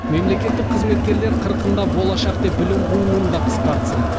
мемлекеттік қызметкерлер қырқында болашақ деп білім қууын да қысқартсын